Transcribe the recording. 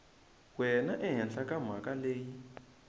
wena ehenhla ka mhaka leyi